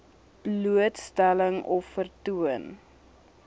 blootstelling of vertoon